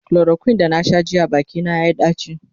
chloroquine da na Sha jiya Baki na yayi daci